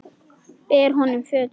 Ber honum fötuna.